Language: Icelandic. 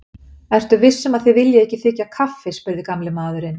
Ertu viss um að þið viljið ekki þiggja kaffi? spurði gamli maðurinn.